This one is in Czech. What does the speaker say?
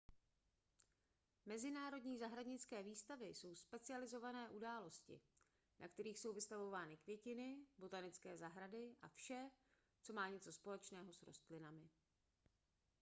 mezinárodní zahradnické výstavy jsou specializované události na kterých jsou vystavovány květiny botanické zahrady a vše co má něco společného s rostlinami